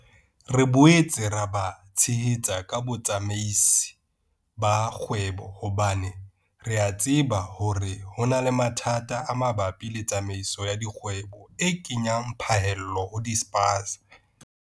Re boetse re ba tshehetsa ka botsamaisi ba kgwebo hobane re a tseba hore ho na le mathata a mabapi le tsamaiso ya dikgwebo e kenyang phaello ho dispaza.